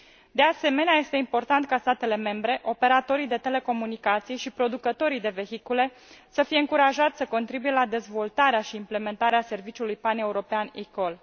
De asemenea, este important ca statele membre, operatorii de telecomunicații și producătorii de vehicule să fie încurajați să contribuie la dezvoltarea și implementarea serviciului paneuropean eCall.